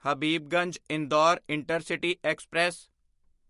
Habibganj Indore intercity express